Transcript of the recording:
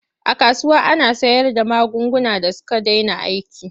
A kasuwa ana sayarda magunguna da suka dena aiki.